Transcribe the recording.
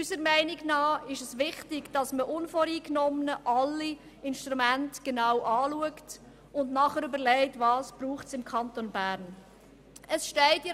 Unserer Meinung nach ist es wichtig, dass man unvoreingenommen alle Instrumente genau anschaut und anschliessend überlegt, was es im Kanton Bern braucht.